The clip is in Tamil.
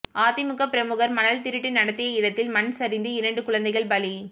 அதிமுக பிரமுகர் மணல் திருட்டு நடத்திய இடத்தில் மண் சரிந்து இரண்டு குழந்தைகள் பலி